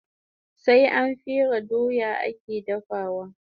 Sai an fere doya ake dafawa